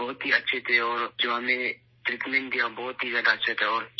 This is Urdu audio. وہ بہت اچھے لوگ ہیں اور جو ہمیں ٹریٹمنٹ دیا ، بہت ہی زیادہ اچھے تھے